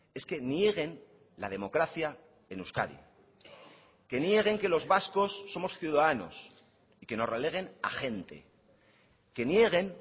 es que nieguen la democracia en euskadi que nieguen que los vascos somos ciudadanos y que nos releguen a gente que nieguen